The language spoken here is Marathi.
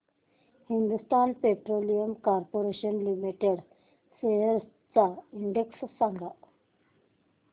Hindustan Petroleum Corporation Limited shares चा इंडेक्स सांगा